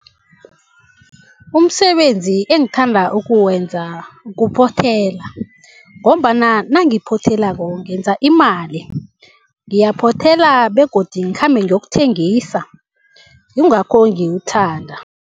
Umsebenzi engithanda ukuwenza kuphothela ngombana nangiphothelako ngenza imali. Ngiyaphothela begodu ngikhambe ngiyokuthengisa, yingakho ngiwuthanda.